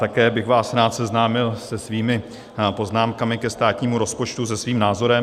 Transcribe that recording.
Také bych vás rád seznámil se svými poznámkami ke státnímu rozpočtu, se svým názorem.